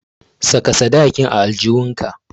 Saka sadakin a aljihunka.